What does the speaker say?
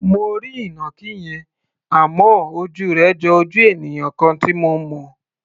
Mo rí ìnàkí yẹn, àmọ́ ojú rẹ̀ jo ojú ènìyàn kan tí mo mọ̀.